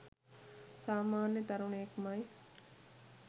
සාමන්‍ය තරුණයෙක් මයි.